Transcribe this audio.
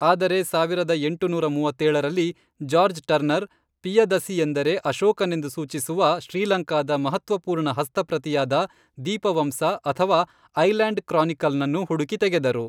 ಆದರೆ, ಸಾವಿರದ ಎಂಟುನೂರ ಮೂವತ್ತೇಳರಲ್ಲಿ, ಜಾರ್ಜ್ ಟರ್ನರ್, ಪಿಯದಸಿಯೆಂದರೆ ಅಶೋಕನೆಂದು ಸೂಚಿಸುವ ಶ್ರೀಲಂಕಾದ ಮಹತ್ತ್ವಪೂರ್ಣ ಹಸ್ತಪ್ರತಿಯಾದ, ದೀಪವಂಸ, ಅಥವಾ ಐಲ್ಯಾಂಡ್ ಕ್ರಾನಿಕಲ್ನನ್ನು ಹುಡುಕಿ ತೆಗೆದರು.